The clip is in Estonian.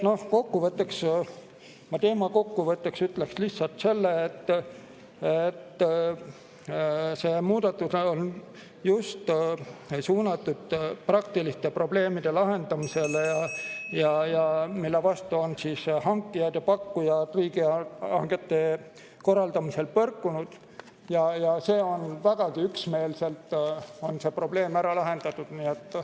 Nii et ma teema kokkuvõtteks ütleks lihtsalt, et see muudatus on suunatud just nende praktiliste probleemide lahendamisele, millega hankijad ja pakkujad on riigihangete korraldamisel põrkunud, ja vägagi üksmeelselt on see probleem ära lahendatud.